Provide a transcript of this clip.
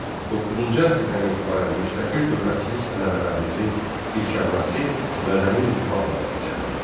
Doqquzuncu əsrdən etibarən müstəqil dövlətçilik ənənələrimizin dirçəlməsi mədəni intibahla nəticələndi.